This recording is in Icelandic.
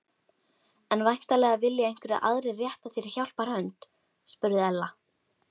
En væntanlega vilja einhverjir aðrir rétta þér hjálparhönd? spurði Ella.